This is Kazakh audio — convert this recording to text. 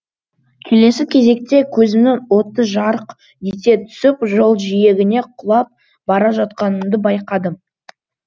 келесі кезекте көзімнің оты жарқ ете түсіп жол жиегіне құлап бара жатқанымды байқадым